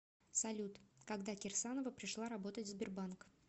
салют когда кирсанова пришла работать в сбербанк